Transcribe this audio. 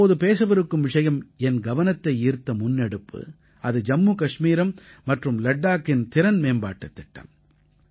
நான் இப்போது பேசவிருக்கும் விஷயம் என் கவனத்தை ஈர்த்த முன்னெடுப்பு அது ஜம்மு கஷ்மீரம் மற்றும் லட்டாக்கின் திறன்மேம்பாட்டுத் திட்டம்